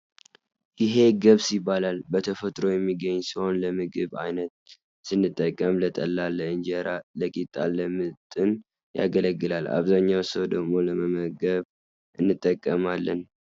እሄ ገብስ ይባላል። በተፈጥሮ የሚገኝ ሲሆን ለምግብ ዓይነት ስንጠቀም ፤ ለጠላ፣ ለእንጀራ፣ ለቅጣ ፣ ለምጥን ያገለግላል። ኣብዛኛው ሰው ደሞ ለመመገብ እንጠቀማለን።